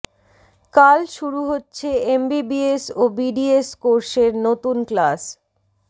কাল শুরু হচ্ছে এমবিবিএস ও বিডিএস কোর্সের নতুন ক্লাস